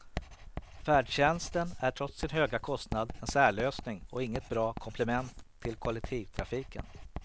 Färdtjänsten är trots sin höga kostnad en särlösning och inget bra komplement till kollektivtrafiken.